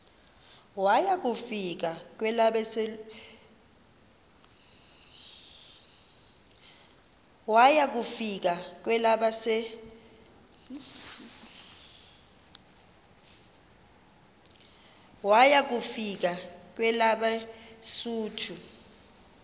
waya kufika kwelabesuthu